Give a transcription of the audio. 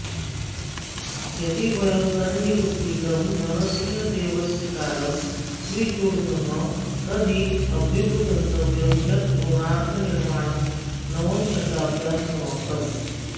यदि वयं तन्निरूपितं नरसिंहदेवस्य कालं स्वीकुर्मः तर्हि अभ्युपगन्तव्यं यत् कोणार्कनिर्माणं नवमशताब्द्यां समाप्तम्